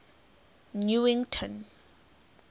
newington